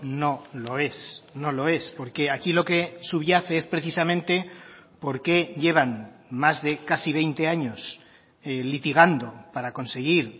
no lo es no lo es porque aquí lo que subyace es precisamente porque llevan más de casi veinte años litigando para conseguir